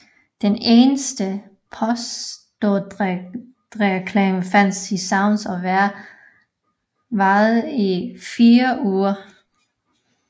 Den eneste postordrereklame fandtes i Sounds og varede i 4 uger